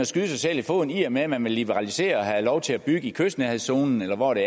skyde sig selv i foden i og med at man vil liberalisere og have lov til at bygge i kystnærhedszonen eller hvor det